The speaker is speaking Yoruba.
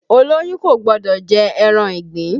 Olóyún kò gbọ́dọ̀ jẹ ẹran ìgbín